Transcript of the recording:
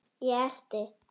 Ég elti.